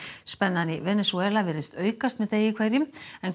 spennan í Venesúela virðist aukast með degi hverjum